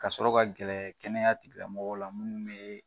Ka sɔrɔ ka gɛrɛ kɛnɛya tigila mɔgɔw la munnu bɛ